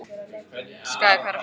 Skaði, hvað er að frétta?